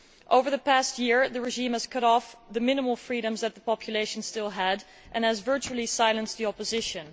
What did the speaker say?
Over the past year, the regime has cut off the minimal freedoms that the population still had and has virtually silenced the opposition.